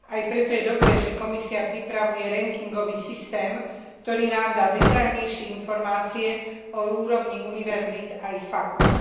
Aj preto je dobré, že Komisia pripravuje rankingový systém, ktorý nám dá detailnejšie informácie o úrovni univerzít a ich fakúlt.